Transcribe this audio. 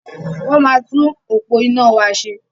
Wọ́n máa tún òpó iná wa ṣe.